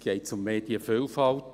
– Geht es um Medienvielfalt?